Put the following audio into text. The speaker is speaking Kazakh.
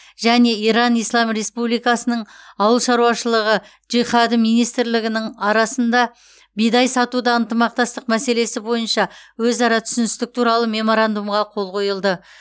және иран ислам республикасының аулы шаруашылығы джихады министрлігінің арасында бидай сатуда ынтымақтастық мәселесі бойынша өзара түсіністік туралы меморандумға қол қойылды